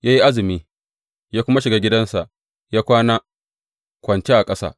Ya yi azumi, ya kuma shiga gidansa ya kwana kwance a ƙasa.